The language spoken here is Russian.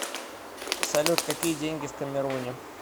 салют какие деньги в камеруне